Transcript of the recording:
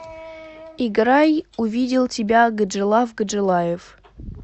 играй увидел тебя гаджилав гаджилаев